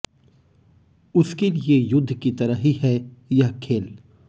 उसके लिए युध्द की तरह ही है यह खेल